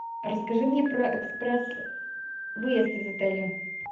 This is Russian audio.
расскажи мне про экспресс выезд из отеля